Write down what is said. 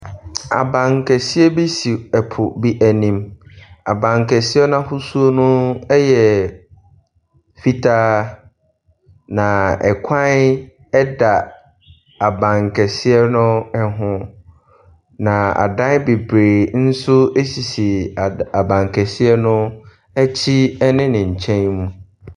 Abankɛseɛ bi si ɛpo bi anim. Abankɛseɛ no ahosuo no yɛ fitaa. Na kwan da abankɛseɛ no ho. Na adan bebree nso sisi ad abankɛseɛ no akyi ne ne nkyɛn mu.